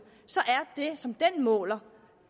som måler